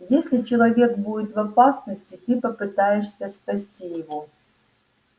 если человек будет в опасности ты попытаешься спасти его